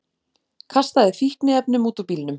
Kastaði fíkniefnum út úr bílnum